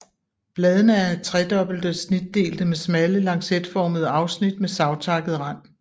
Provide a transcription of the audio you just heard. Bladene er tredobbelt snitdelte med smalle lancetformede afsnit med savtakket rand